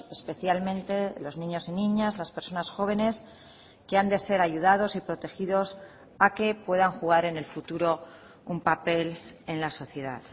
especialmente los niños y niñas las personas jóvenes que han de ser ayudados y protegidos a que puedan jugar en el futuro un papel en la sociedad